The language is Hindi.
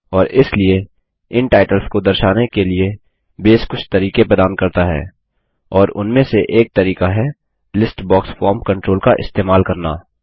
और इसलिए इन टाइटल्स को दर्शाने के लिए बेस कुछ तरीके प्रदान करता है और उनमे से एक तरीका है लिस्ट बॉक्स फॉर्म कंट्रोल का इस्तेमाल करना